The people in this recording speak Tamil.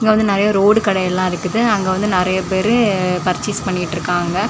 இங்க வந்து நெறைய ரோடு கடைகள் எல்லா இருக்குது அங்க வந்து நெறைய பேர் பர்சேஸ் பண்ணிட்ருக்காங்க.